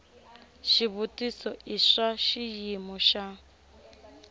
xivutiso i swa xiyimo xa